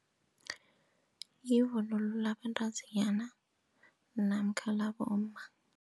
Yivunulo labantazinyana namkha labomma.